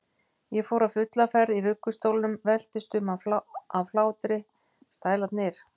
Ég fór á fulla ferð í ruggustólnum, veltist um af hlátri, stælarnir!